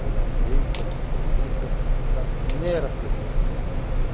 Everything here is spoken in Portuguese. Por ausência absoluta da mera presença do poder público.